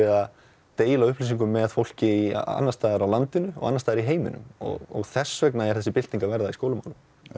að deila upplýsingum með fólki annars staðar á landinu og annars staðar í heiminum þess vegna er þessi bylting að verða í skólum